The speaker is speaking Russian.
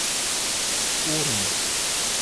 урм